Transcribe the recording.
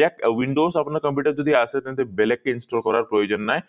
ইয়াত windows আপোনাৰ computer যদি আছে তেন্তে বেলেগেকে install কৰাৰ কোনো প্ৰয়োজন নাই